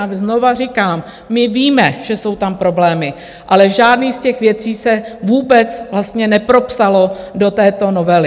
A znovu říkám, my víme, že jsou tam problémy, ale žádná z těch věcí se vůbec vlastně nepropsala do této novely.